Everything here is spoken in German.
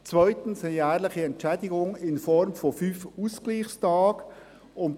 zweitens eine jährliche Entschädigung in Form von 5 Ausgleichstagen;